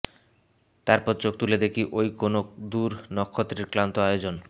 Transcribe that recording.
তারপর চোখ তুলে দেখি ঐ কোন দূর নক্ষত্রের ক্লান্ত আয়োজন